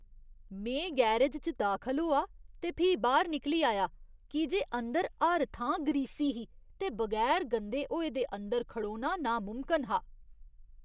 में गैरज च दाखल होआ ते फ्ही बाह्‌र निकली आया की जे अंदर हर थां ग्रीसी ही ते बगैर गंदे होए दे अंदर खड़ोना नामुमकन हा।